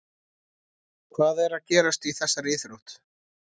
Hvað er að gerast í þessari íþrótt?